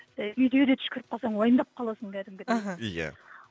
і үйде де түшкіріп қалсаң уайымдап қаласың кәдімгідей іхі иә